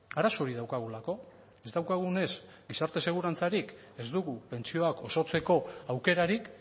arazo hori daukagulako ez daukagunez gizarte segurantzarik ez dugu pentsioak osotzeko aukerarik